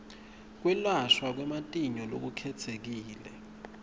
kwelashwa kwematinyo lokukhetsekile